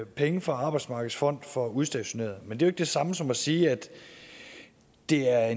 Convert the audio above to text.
penge fra arbejdsmarkedets fond for udstationerede men det er det samme som at sige at det er